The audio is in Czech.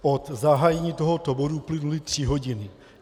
Od zahájení tohoto bodu uplynuly tři hodiny.